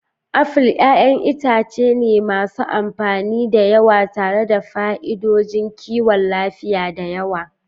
Afil 'ya'yan itace ne masu amfani da yawa tare da fa'idodin kiwon lafiya da yawa.